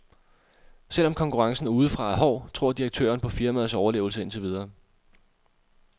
Selv om konkurrencen udefra er hård, tror direktøren på firmaets overlevelse indtil videre.